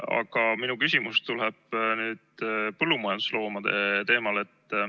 Aga minu küsimus tuleb nüüd põllumajandusloomade teemal.